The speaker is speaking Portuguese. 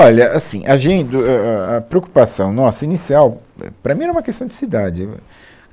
Olha, assim, a gente, a a a preocupação nossa, inicial, éh, para mim era uma questão de cidade, eu a,